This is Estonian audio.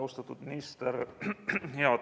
Austatud minister!